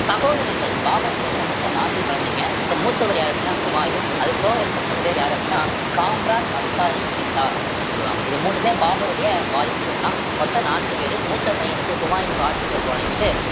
சகோதரர்கள் பாபருக்கு பாத்தீங்கன்னா மொத்தம் நான்கு குழந்தைங்க so மூத்தவர் யாரு அப்படின்னா ஹுமாயூன் அதுக்கு போக இருக்க மூணு பேர் யாரு அப்படின்னா காம்ரன், அஸ்காரி. ஹிண்டல் அப்படின்னு சொல்லுவாங்க இது மூன்றுமே பாபருடைய வாரிசுகள்தான் மொத்தம் நான்கு பேரு மூத்த பையனுக்கு ஹுமாயூனுக்கு ஆட்சி பொறுப்பை வழங்கிட்டு